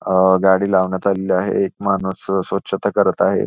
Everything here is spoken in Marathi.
अ अ गाडी लावण्यात आलेली आहे एक माणूस अ स्वछता करत आहे.